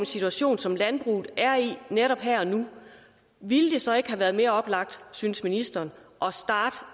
situation som landbruget er i netop her og nu ville det så ikke have været mere oplagt synes ministeren